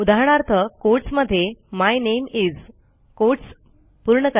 उदाहरणार्थ कोटस मध्ये my name is quotes पूर्ण